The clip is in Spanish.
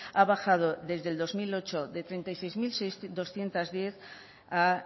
ha bajado desde el dos mil ocho de treinta y seis mil doscientos diez a